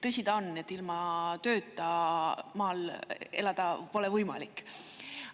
Tõsi ta on, et ilma tööta maal elada pole võimalik.